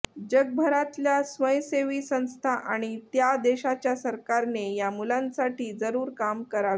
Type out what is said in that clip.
जगभरातल्या स्वयंसेवी संस्था आणि त्या त्या देशाच्या सरकारने या मुलांसाठी जरूर काम करावे